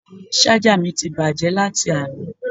Ṣájà mi ti bàjẹ́ láti àná